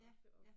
Ja, ja